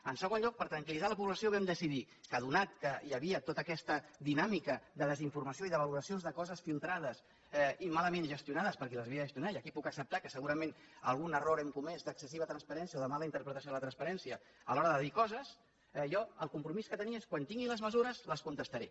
en segon lloc per tranquil·litzar la població vam decidir que atès que hi havia tota aquesta dinàmica de desinformació i de valoracions de coses filtrades i mal gestionades per qui les havia de gestionar i aquí puc acceptar que segurament algun error hem comès d’excessiva transparència o de mala interpretació de la transparència a l’hora de dir coses jo el compromís que tenia és quan tingui les mesures les contestaré